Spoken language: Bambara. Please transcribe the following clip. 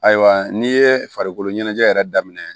Ayiwa n'i ye farikolo ɲɛnajɛ yɛrɛ daminɛ